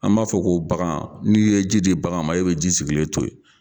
An b'a fɔ ko bagan n'i ye ji de bagan ma e bɛ ji sigilen to yen.